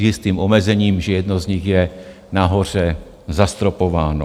S jistým omezením, že jedno z nich je nahoře zastropováno.